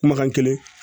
Kumakan kelen